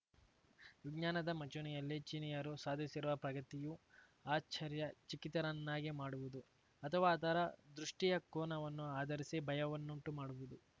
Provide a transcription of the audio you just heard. ವಿಜ್ಞಾನದ ಮಂಚೂಣಿಯಲ್ಲಿ ಚೀನೀಯರು ಸಾಧಿಸಿರುವ ಪ್ರಗತಿಯು ಆಶ್ಚರ್ಯಚಕಿತರನ್ನಾಗಿ ಮಾಡುವುದು ಅಥವಾ ಅದರ ದೃಷ್ಟಿಯ ಕೋನವನ್ನು ಆಧರಿಸಿ ಭಯವನ್ನುಂಟುಮಾಡುವುದು